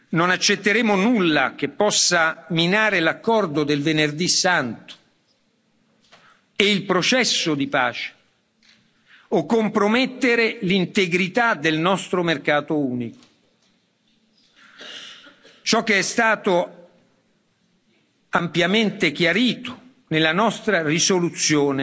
Non accetteremo nulla che possa minare l'accordo del Venerdì Santo e il processo di pace o compromettere l'integrità del nostro mercato unico, come è stato ampiamente chiarito nella nostra risoluzione